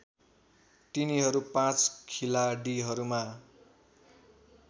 तिनीहरू पाँच खिलाडीहरूमा